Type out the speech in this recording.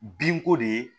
Binko de ye